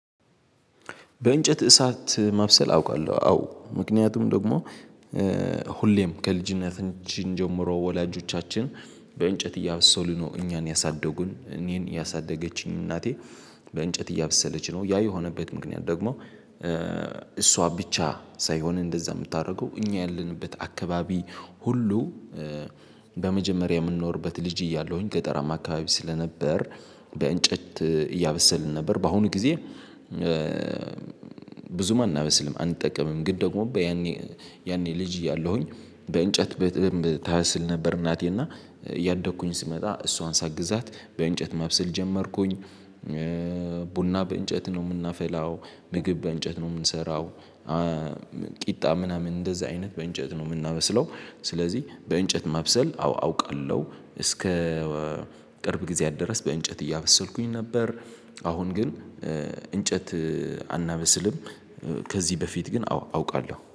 በእንጨት እሳት ማብሰል አውቃለሁ። አዎ ምክንያቱም ደግሞ ሁሌም ከልጅነታችን ጀምሮ ወላጆቻችን በእንጨት እያበሰሉ ነው እኛን ያሳደጉን እኔን ያሳደገችኝ እናቴ በእንጨት እያበሰለች ነው ያ የሆነበት ምክንያት ደግሞ እሷ ብቻ ሳይሆን እንደዛ የምታደርገው እኛ ያለንበት አካባቢ ሁሉ በመጀመሪያ የምንኖርበት ልጅ እያለሁኝ ገጠራማ አካባቢ ስለነበር በእንጨት እያበሰልን ነበር። በአሁኑ ጊዜ ብዙም አናበስልም አንጠቀምም ግን ደግሞ በያኔ ያኔ ልጅ እያለሁኝ በእንጨት በደምብ ታበስል ነበር። እናቴ እና እያደኩኝ ስመጣ እሷን ሳግዛት በእንጨት ማብስል ጀመርኩኝ። ቡና በእንጨት ነው የምናፈላው ምግብ በእንጨት ነው የምንሰራው። ቂጣ ምናምን እንደዚህ አይነት በእንጨት ነው የምናበስለው። ስለዚህ በእንጨት ማብሰል አዎ አውቃለሁ። እስከ ቅርብ ጊዜያት ድረስ በእንጨት እያበሰልኩኝ ነበር። አሁን ግን እንጨት አናበስልም። ከዚህ በፊት ግን አዎ አውቃለሁ